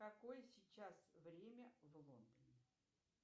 какое сейчас время в лондоне